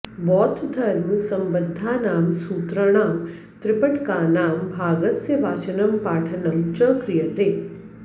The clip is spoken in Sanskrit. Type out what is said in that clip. बौद्धधर्मसम्बद्धानां सूत्राणां त्रिपिटकानां भागस्य वाचनं पाठनं च क्रियते